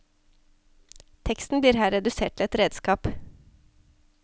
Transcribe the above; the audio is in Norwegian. Teksten blir her redusert til et redskap.